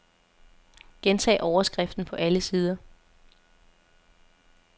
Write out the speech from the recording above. Gentag overskriften på alle sider.